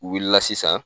U wulila sisan